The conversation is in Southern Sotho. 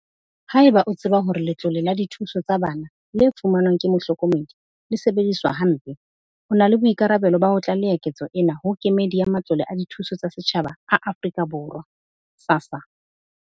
Haeba o tseba hore letlole la dithuso tsa bana le fumanwang ke mohlokomedi e sebediswa hampe, o na le boikarabelo ba ho tlaleha ketso ena ho Kemedi ya Matlole a Dithuso tsa Setjhaba a Afrika Borwa, SASSA,